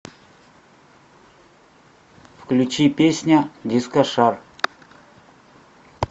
включи песня дискошар